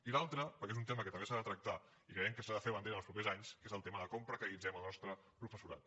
i l’altre perquè és un tema que també s’ha de tractar i creiem que se n’ha de fer bandera en els propers anys és el tema de com precaritzem el nostre professorat